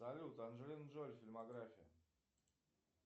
салют анджелина джоли фильмография